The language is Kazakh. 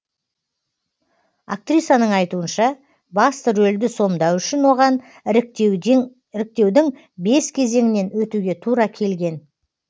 актрисаның айтуынша басты рөлді сомдау үшін оған іріктеудің бес кезеңінен өтуге тура келген